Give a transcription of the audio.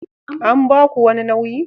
An ba ku wani nauyi?